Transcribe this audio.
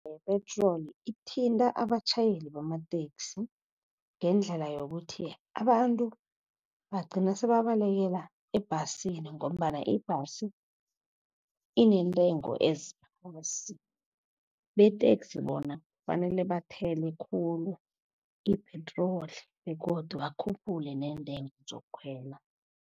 Yepetroli ithinta abatjhayeli bamateksi ngendlela yokuthi, abantu bagcina sebabalekela ebhasini, ngombana ibhasi inentengo . Beteksi bona fanele bathele khulu ipetroli begodu akhuphule neentengo zokukhwela.